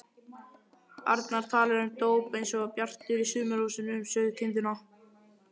arnar talar um dóp einsog Bjartur í Sumarhúsum um sauðkindina.